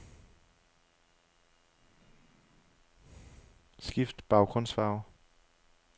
Skift baggrundsfarve.